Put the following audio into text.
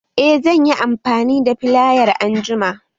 Eh zan yi amfani da filayar anjima